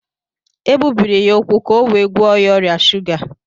E gbubiri ya úkwú ka e wee gwọọ ya ọrịa shuga